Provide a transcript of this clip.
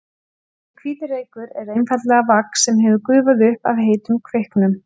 Þessi hvíti reykur er einfaldlega vax sem hefur gufað upp af heitum kveiknum.